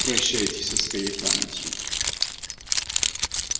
прощайтесь со своей памятью